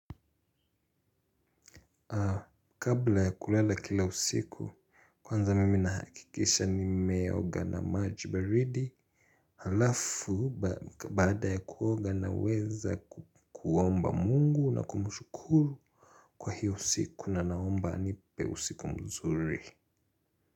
Kabla ya kulala kila usiku kwanza mimi nahakikisha nimeoga na maji baridi. Halafu baada ya kuoga na weza kuomba mungu na kumshukuru kwa hiyo usiku na naomba anipe usiku mzuri.